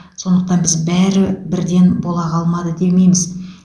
сондықтан біз бәрі бірден бола қалмады демейміз